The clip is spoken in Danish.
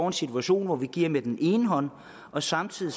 en situation hvor vi giver med den ene hånd samtidig